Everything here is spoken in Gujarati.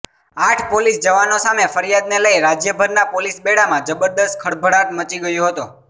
આઠ પોલીસ જવાનો સામે ફરિયાદને લઇ રાજયભરના પોલીસ બેડામાં જબરદસ્ત ખળભળાટ મચી ગયો હતો